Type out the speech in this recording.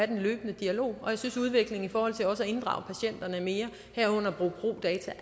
den løbende dialog og jeg synes at udviklingen i forhold til også at inddrage patienterne mere herunder at bruge pro data